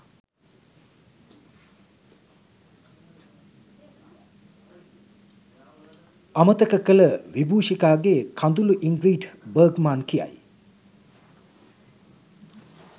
අමතක කළ විබූෂිකාගේ කඳුළුඉන්ග්‍රිඩ් බර්ග්මාන් කියයි.